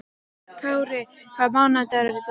Kárí, hvaða mánaðardagur er í dag?